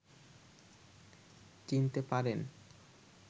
চিনতে পারেন